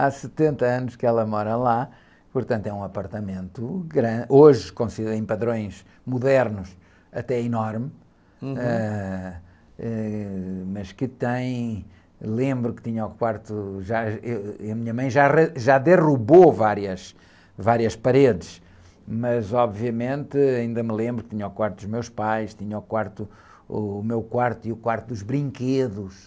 Há setenta anos que ela mora lá, portanto é um apartamento grande, hoje, como se vê em padrões modernos até enorme.hum.h, eh, mas que tem, lembro que tinha o quarto, já, eu, e a minha mãe já, já derrubou várias, várias paredes, mas obviamente ainda me lembro que tinha o quarto dos meus pais, tinha o quarto, o meu quarto e o quarto dos brinquedos,